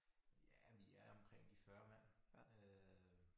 Ja vi er omkring de 40 mand øh